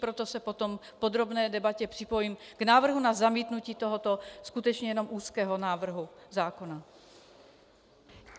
Proto se potom v podrobné debatě připojím k návrhu na zamítnutí tohoto skutečně jenom úzkého návrhu zákona.